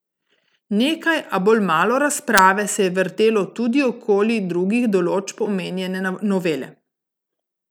Nekaj, a bolj malo razprave, se je vrtelo tudi okoli drugih določb omenjene novele.